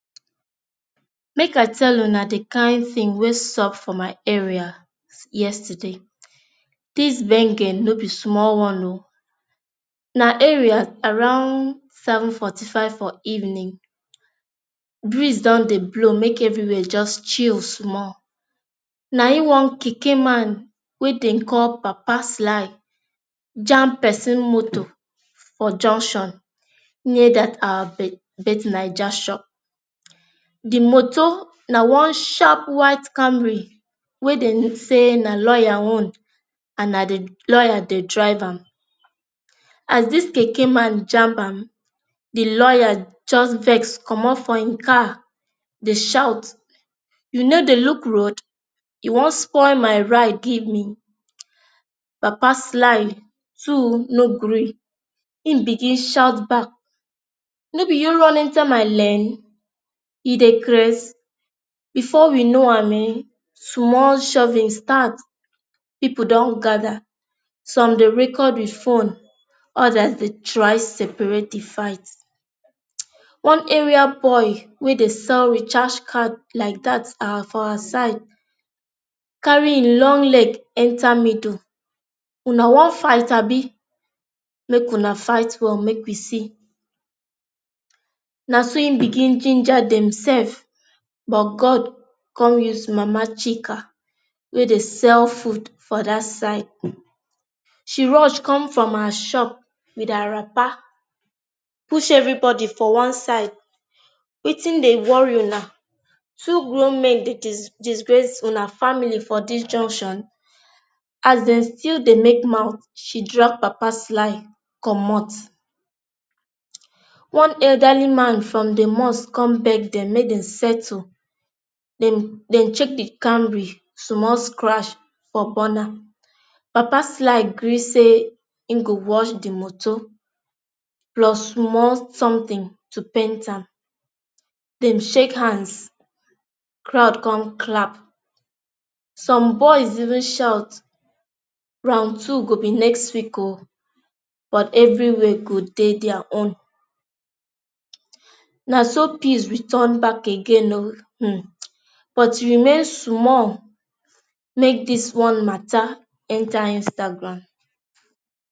Make I tell una the kain thing wey sup for my area yesterday. This gbenge no be small one ooo. Na area around seven forty five for evening, breeze dun dey Blow make everywhere just chill small. Na em one Keke man wey dem call papa sly jamb person moto for junction near that our be bet 9ja shop. The moto na one sharp white Camry wey dem say na lawyer own and na the lawyer dey drive am. As this Keke man jamb am, the lawyer just vex comot for e car dey shout, you no dey look road? You wan spoil my ride give me? Papa sly too no gree e begin shout back, no be you run enter my lane? You dey craze? Before we know am Ehen small shovings start. People dun gather some dey record with phone, others dey try separate the fight. One area boy wey dey sell recharge card like dat for that our side carry e long leg enter middle. una wan fight Abi? Make una fight well make we see. na so e begin ginger dem sef, but God con used mama chika wey Dey sell food for that side. She rush come from her shop with her wrapper, push everybody for one side. Wetin dey worry una? Two grown men dey jis disgrace una family for this junction? As dem still dey make mouth, she drag papa sly comot. One elderly man for the mosque con beg dem make dem settle. Dem dem check the Camry, small scratch for burner. Papa sly gree say e go wash the motor plus small something to paint am. Dem shake hands, crowd come clap. Some boys even shout round two go be next week oo but everywhere go dey their own. Na so peace return back again o um but e remain small make this small matter enter instagram.